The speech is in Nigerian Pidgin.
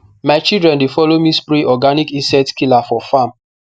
my children dey follow me spray organic insect killer for farm